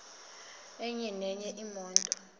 enye nenye imoto